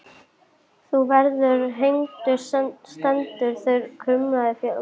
Þú verður hengdur stendur þar kumraði í félaga mínum.